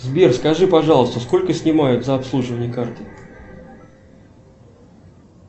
сбер скажи пожалуйста сколько снимают за обслуживание карты